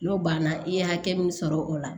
N'o banna i ye hakɛ min sɔrɔ o la